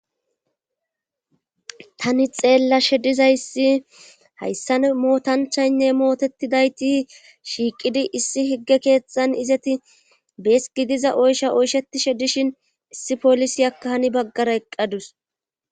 Tani xeella shediza issi hayssan mootanchaynne mootetidayti shiiqidi issi higge keexan izeti bees gidiza oysha oysheti shedishin issi polisi akka hani baggara eqqadus.